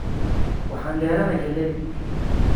Waxaan beraayna galeey